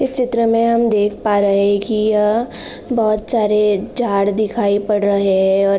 इस चित्र में हम देख पा रहे है कि यह बहोत सारे झाड़ दिखाई पड़ रहे है और --